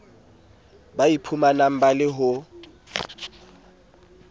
ba iphumanang ba le ho